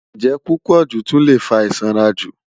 Njẹ pupọju tun le fa isanraju